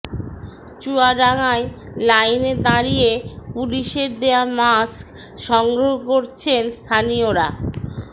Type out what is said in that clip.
চুয়াডাঙ্গায় লাইনে দাঁড়িয়ে পুলিশের দেয়া মাস্ক সংগ্রহ করছেন স্থানীয়রা